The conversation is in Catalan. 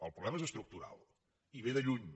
el problema és estructural i ve de lluny